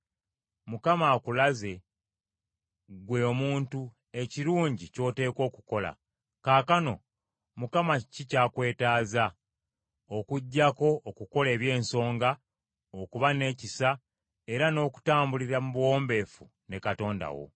Mukama akulaze, ggwe omuntu, ekirungi ky’oteekwa okukola. Kaakano, Mukama kiki ky’akwetaaza, okuggyako okukola eby’ensonga, okuba n’ekisa era n’okutambulira mu buwombeefu ne Katonda wo.